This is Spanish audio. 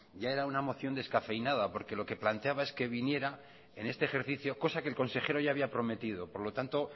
ya era una moción descafeinada porque lo que planteaba es que viniera en este ejercicio cosa que el consejero ya había prometido por lo tanto